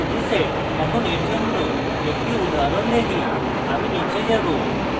এখন এর জন্য একটি উদাহরণ দেখি আমি নীচে যাবো